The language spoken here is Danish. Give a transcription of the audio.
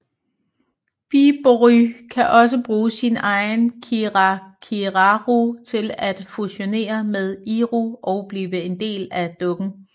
Bibury kan også bruge sin egen kirakiraru til at fusionere med Iru og blive en del af dukken